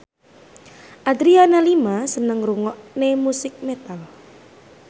Adriana Lima seneng ngrungokne musik metal